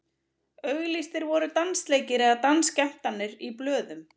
auglýstir voru dansleikir eða dansskemmtanir í blöðum